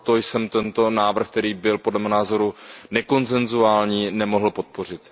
Proto jsem tento návrh, který byl podle mého názoru nekonsensuální, nemohl podpořit.